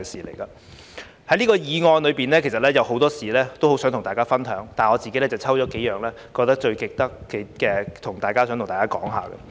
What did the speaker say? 就這項議案，其實有很多事情很想跟大家分享，但我自己選了幾件覺得最值得跟大家說說的。